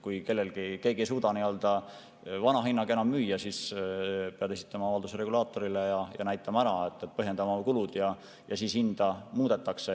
Kui keegi ei suuda enam vana hinnaga müüa, siis peab ta esitama avalduse regulaatorile ja näitama ära, põhjendama oma kulud, ja siis hinda muudetakse.